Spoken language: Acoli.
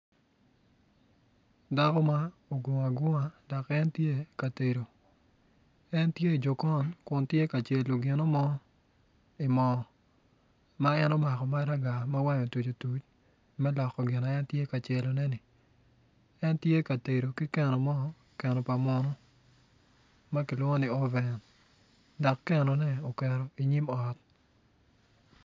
Dako ma ogungo agunga dok en tye ka tedo en tye i jokon kun en tye ka tedo gino mo i mo ma en omako maraga ma wange otuc otuc me loko gin ma en tye ka celo neni en tye ka tedo ki keno mo keno pa munu ma kilwongo ni oven dok kenone oketo i nyim ot.